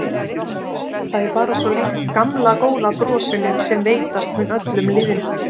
Það er bara svo líkt gamla góða brosinu sem veitast mun öllum lýðnum.